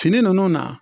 Fini nunnu na